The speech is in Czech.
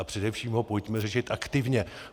A především ho pojďme řešit aktivně.